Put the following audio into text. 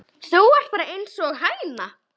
Þú ert bara einsog hæna.